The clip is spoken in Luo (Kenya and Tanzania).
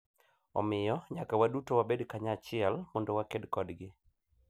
Omiyo, nyaka waduto wabed kanyachiel mondo waked kodgi .